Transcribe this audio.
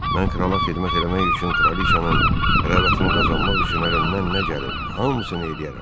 Mən krala xidmət eləmək üçün, kraliçanın rəğbətini qazanmaq üçün əlimdən nə gəlir, hamısını eləyərəm.